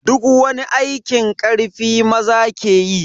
Duk wani aikin karfi maza ke yi.